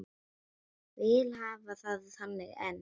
Vil hafa það þannig enn.